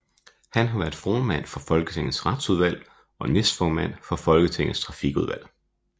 Han har været formand for Folketingets Retsudvalg og næstformand for Folketingets Trafikudvalg